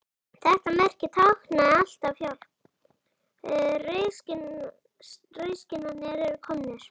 Þetta merki táknaði alltaf: Hjálp, rauðskinnarnir eru komnir